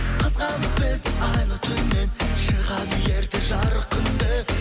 қызғанып бізді айлы түннен шығады ерте жарық күн де